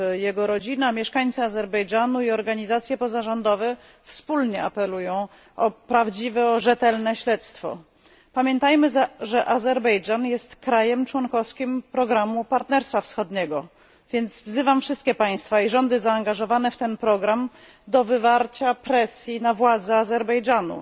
Jego rodzina, mieszkańcy Azerbejdżanu i organizacje pozarządowe wspólnie apelują o prawdziwe, rzetelne śledztwo. Pamiętajmy, że Azerbejdżan jest krajem członkowskim programu Partnerstwa Wschodniego, więc wzywam wszystkie państwa i rządy zaangażowane w ten program do wywarcia presji na władze Azerbejdżanu.